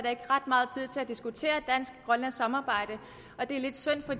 ikke er ret meget tid til at diskutere dansk grønlandsk samarbejde og det er lidt synd for